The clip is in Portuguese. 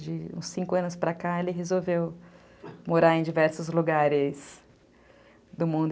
De uns cinco anos para cá, ele resolveu morar em diversos lugares do mundo.